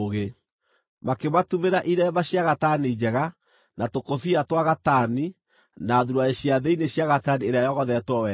Makĩmatumĩra iremba cia gatani njega, na tũkũbia twa gatani, na thuruarĩ cia thĩinĩ cia gatani ĩrĩa yogothetwo wega.